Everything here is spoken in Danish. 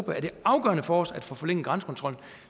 er det afgørende for os at få forlænget grænsekontrollen